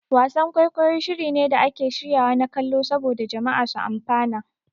Wasan-kwaikwayi shiri ne da ake shiryawa na kallo saboda jama'a su amfana.